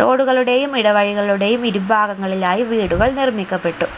road കളുടെയും ഇടവഴികളുടെയും ഇരുഭാഗങ്ങളിലായി വീടുകൾ നിർമ്മിക്കപ്പെട്ടു